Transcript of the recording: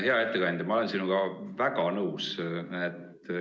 Hea ettekandja, ma olen sinuga väga nõus.